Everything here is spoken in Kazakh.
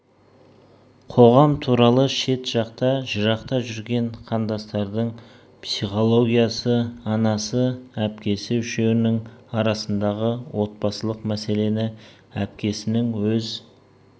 қоғам туралы шет жақта жырақта жүрген қандастардың психологиясы анасы әпкесі үшеуінің арасындағы отбасылық мәселені әпкесінің өз